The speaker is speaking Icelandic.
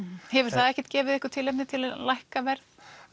hefur það ekkert gefið ykkur tilefni til að lækka verð